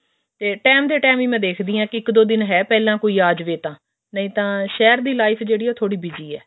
time ਦੇ time ਹੀ ਮੈਂ ਦੇਖਦੀ ਹਾਂ ਇੱਕ ਦੋ ਦਿਨ ਹੈ ਪਹਿਲਾਂ ਕੋਈ ਆ ਜਾਵੇ ਤਾਂ ਨਹੀਂ ਤਾਂ ਸ਼ਹਿਰ ਦੀ ਲਿਫਰ ਜਿਹੜੀ ਹੈ ਉਹ busy ਹੈ